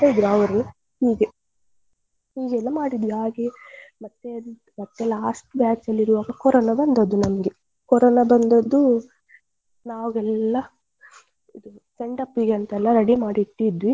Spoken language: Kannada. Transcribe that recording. ಹೀಗೆ ಹೀಗೆ ಎಲ್ಲ ಮಾಡಿದ್ವಿ ಹಾಗೆ ಮತ್ತೆ ಎಂತ ಮತ್ತೆ last batch ಅಲ್ಲಿ ಇರುವಾಗ ಕೊರೋನಾ ಬಂದದ್ದು ನಮ್ಗೆ ಕೊರೋನಾ ಬಂದದ್ದು ನಾವೆಲ್ಲಾ ಇದು send off ಗೆ ಅಂತೆಲ್ಲ ready ಮಾಡಿ ಇಟ್ಟಿದ್ವಿ.